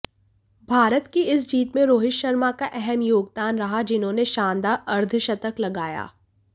भारत की इस जीत में रोहित शर्मा का अहम योगदान रहा जिन्होंने शानदार अर्धशतक लगाया